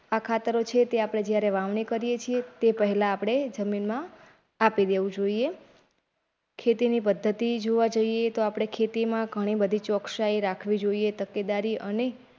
આ ખાતરો છે તે આપડે જયારે વાવણી કેરીએ છે તે પહેલા આપડે જમીનમાં આપી દેવું જોઈએ ખેતીની પદ્ધતિ જોવા જોઇએ તો આપડે ખેતીમાં ઘણી બધી ચોકસાઈ રાખવી જોઇએ તકેદારી અને.